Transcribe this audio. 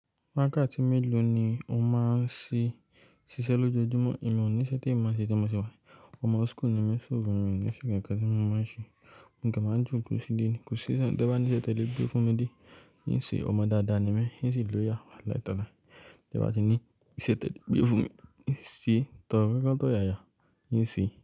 Mákà tí mélòó ni o máa ń ṣiṣẹ́ lójoojúmọ́? Ìmọ̀ níṣẹ́ tí ìmọ̀ ṣe tí mo ṣe wá ni. Ọmọ school ni mí, so fun mi ni ṣe kankan tí mo máa ń ṣe. Nígbà máa ń ju kòsì díìdí, kòsì díìdí tẹ́ba níṣẹ́ tẹ́lẹ̀ gbé fún mi díì. Níyì ṣe ọmọ dáadáa ni mí, níyì ṣe ìlóyà, alailẹ́ta ni. Tẹ́ba ti ní ìṣe tẹ́lẹ̀ gbé fún mi, níyì ṣe tọ̀rẹ́ káǹtọ̀ yaya, níyì ṣe.